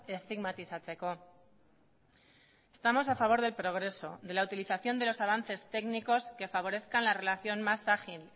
estigmatizatzeko estamos a favor del progreso de la utilización de los avances técnicos que favorezcan la relación más ágil